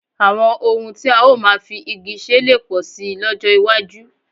Àwọn ohun tí a ó máa fi igi ṣe lè pọ̀ síi lọ́jọ́ iwájú